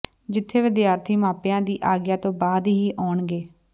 ਜਿਥੇ ਵਿਦਿਆਰਥੀ ਮਾਪਿਆਂ ਦੀ ਆਗਿਆ ਤੋਂ ਬਾਅਦ ਹੀ ਆਉਣਗੇ